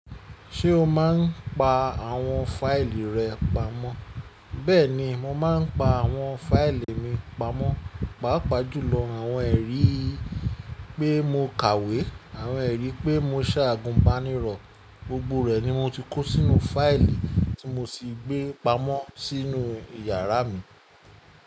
Ṣé o máa ń pa àwọn fáìlì rẹ pamọ́? Bẹ́ẹ̀ni, mo máa ń pa àwọn fáìlì mi pamọ́, pàápàá jùlọ àwọn ẹ̀rí pé mo kàwé, àwọn ẹ̀rí pé mo se agùn bá nírọ̀. Gbogbo rẹ̀ ni mo ti kó sínú fáìlì tí mo sì gbé pamọ́ sínú yàrá mi.